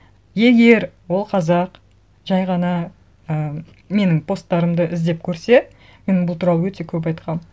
егер ол қазақ жай ғана і менің посттарымды іздеп көрсе мен бұл туралы өте көп айтқанмын